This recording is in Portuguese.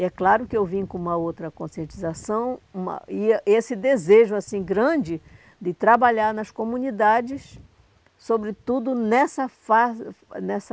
E é claro que eu vim com uma outra conscientização uma e a esse desejo, assim, grande de trabalhar nas comunidades, sobretudo nesta fase, nesta...